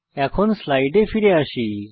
এখন স্লাইডে ফিরে আসি